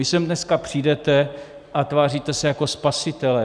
Vy sem dneska přijdete a tváříte se jako spasitelé.